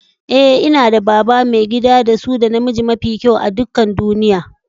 Eh, n'na da baba, maigida da su da na miji mafi kyau a'dukan duniyyan.